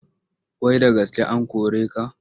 Wai da gaske an kore ka?